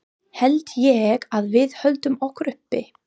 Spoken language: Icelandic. Held ég að við höldum okkur uppi?